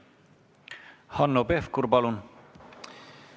Hanno Pevkur, palun!